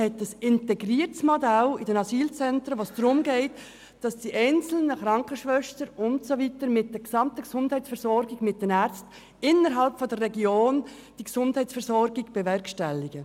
Er hat ein integriertes Modell in den Asylzentren, bei welchem es darum geht, dass die Krankenschwestern mit den Ärzten und den anderen Anbietern der Region die Gesundheitsversorgung bewerkstelligen.